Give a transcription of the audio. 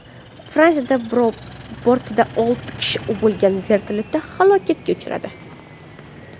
Fransiyada bortida olti kishi bo‘lgan vertolyot halokatga uchradi.